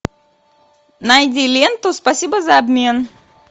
найди ленту спасибо за обмен